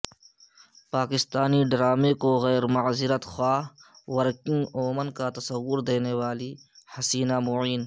پاکستانی ڈرامے کو غیر معذرت خواہ ورکنگ وومن کا تصور دینے والی حسینہ معین